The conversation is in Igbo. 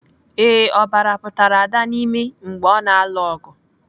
Ee, ọbara pụtara Ada n'imi mgbe ọ na-alụ ọgụ.